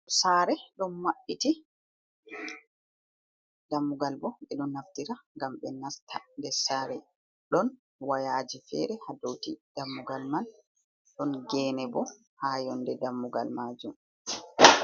saare ɗon mabɓiti, dammugal boo ɓe ɗon naftira ngam ɓe nasta nder saare, ɗon wayaaji feere haa dow dammugal man ɗon geene bo haa yonnde dammugal maajum.